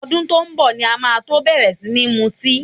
Ọdún tó ń bọ̀ ni máa tó bẹ̀rẹ̀ sí ní mutí